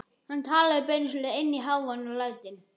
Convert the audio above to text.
Hann talaði beinustu leið inn í hávaðann og lætin.